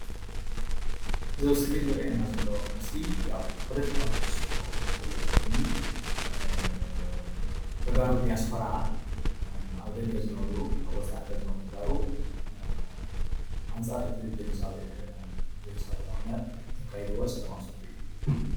እዚ ኣብ እስክሪን ዝረአየና ዘሎ ምስሊ ያው ፖለቲካዊ ትሕዝቶ ዘለዎ ኮይኑ ተጋሩ ዲያስፖራ ኣብ ደገ ዝነብሩ ኣብ ወፃኢ ዝነብሩ ተጋሩ ኣንፃር እቲ ጀኖሳይዳዊ ኩናት ዘካይድዎ ሰለማዊ ሰልፊ እዩ፡፡